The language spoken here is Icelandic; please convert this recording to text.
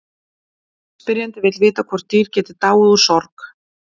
Spyrjandi vill vita hvort dýr geti dáið úr sorg.